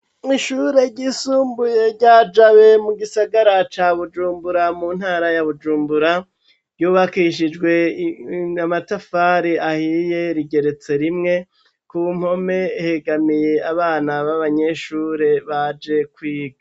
Ishure ry'isumbuye rya jabe mu gisagara ca bujumbura, mu ntara ya bujumbura, ryubakishijwe amatafari ahiye, rigeretse rimwe ,ku mpome hegamiye abana b'abanyeshure baje kwiga.